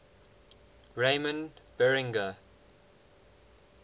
ramon berenguer